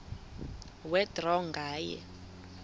kwe draw nganye